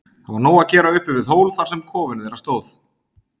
Það var nóg að gera uppi við hól þar sem kofinn þeirra stóð.